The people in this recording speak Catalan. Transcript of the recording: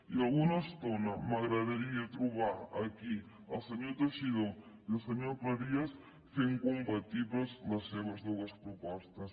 i alguna estona m’agradaria trobar aquí el senyor teixidó i el senyor cleries fent compatibles les seves dues propostes